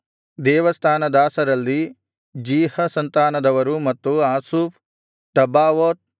ದೇವಸ್ಥಾನದಾಸರಲ್ಲಿ ಜೀಹ ಸಂತಾನದವರು ಮತ್ತು ಹಸೂಫ ಟಬ್ಬಾವೋತ್